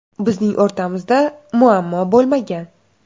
Bizning o‘rtamizda muammo bo‘lmagan.